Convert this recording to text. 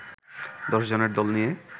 দশজনের দল নিয়ে